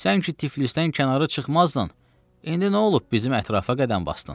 Sən ki Tiflisdən kənara çıxmazdın, indi nə olub bizim ətrafa qədəm basdın?